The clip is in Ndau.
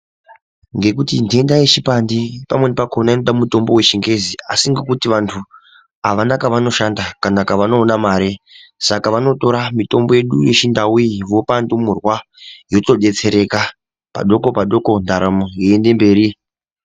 Ngekuti ntenda yeshipandi pamweni pakhona inoda mitombo wechingezi asi ngekuti vantu avana kwavanoshanda kana kwavanoona mare saka vanotora mitombo yedu yechiNdau iyi vopa ndumurwa yotodetsereka padoko padoko ndaramo yeiende mberi.